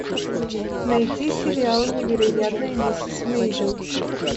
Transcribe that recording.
найти сериал невероятная миссис мейзел